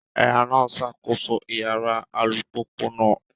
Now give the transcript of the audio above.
Ẹ̀há náà ń ṣàkóso Ìyára alùpùpù náà